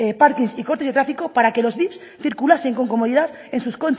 parkings y cortes de tráfico para que los vips circulasen con comodidad en sus